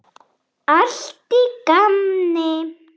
Allt í gamni.